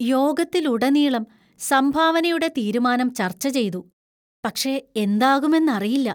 യോഗത്തിലുടനീളം സംഭാവനയുടെ തീരുമാനം ചർച്ച ചെയ്തു, പക്ഷെ എന്താകുമെന്നറിയില്ല.